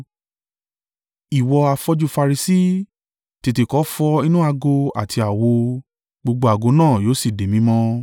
Ìwọ afọ́jú Farisi, tètè kọ́ fọ inú ago àti àwo, gbogbo ago náà yóò sì di mímọ́.